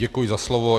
Děkuji za slovo.